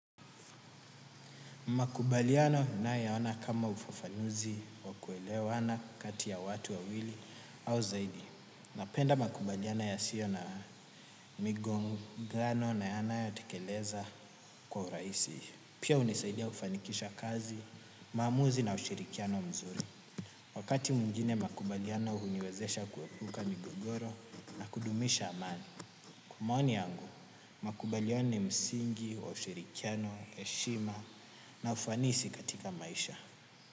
Makubaliano ninayaona kama ufafanuzi ya kuelewana kati ya watu wawili au zaidi. Napenda makubaliano yasiyo na migongano na yanayo tekeleza kwa urahisi. Pia hunisaidia kufanikisha kazi, maamuzi na ushirikiano mzuri. Wakati mwingine makubaliano huniwezesha kuepuka migogoro na kudumisha amani. Kwa maoni yangu makubaliano ni msingi wa ushirikiano, heshima na ufanisi katika maisha.